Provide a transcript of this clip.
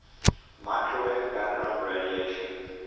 microwave background radiation